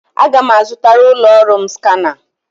Aga m azụtara ụlọ ọrụ m skana.